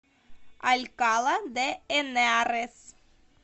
алькала де энарес